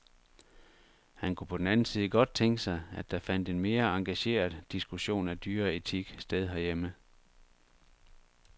Han kunne på den anden side godt tænke sig, at der fandt en mere engageret diskussion af dyreetik sted herhjemme.